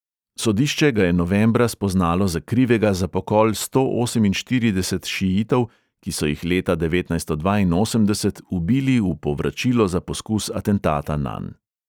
Sodišče ga je novembra spoznalo za krivega za pokol sto oseminštirideset šiitov, ki so jih leta devetnajststo dvainosemdeset ubili v povračilo za poskus atentata nanj.